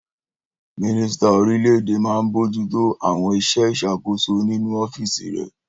Mínísítà orílẹ̀-èdè máa n bojútó àwọn iṣẹ́ ìṣàkóso nínu ọ́fìsì rẹ̀